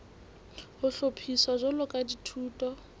ho hlophiswa jwalo ka dithuto